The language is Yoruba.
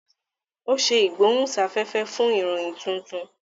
o ṣe igbohunsafẹfẹ fún ìròyìn títún